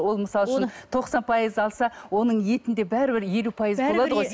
ол мысалы үшін тоқсан пайыз алса оның етінде бәрібір елу пайыз болады ғой